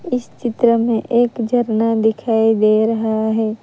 इस चित्र में एक झरना दिखाई दे रहा है।